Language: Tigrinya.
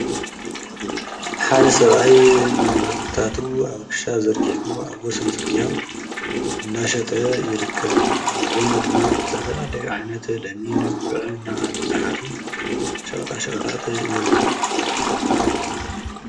ሓደ ሰብኣይ ንም ህርትታቱ ኣብ ክሻ ዘርጊሑ ኣብ ወሰን ጽርግያ እንዳሸጠ ይርከብ ኣብ ጐኑ ድማ ዘተፈላለዓነት ለሚን ጕዕ እናሃል ዝኃዙ ሸቕጣ ሸቕታት ይርከቡ።